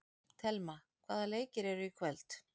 Thelma, hvaða leikir eru í kvöld?